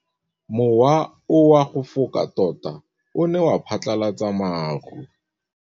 Mowa o wa go foka tota o ne wa phatlalatsa maru.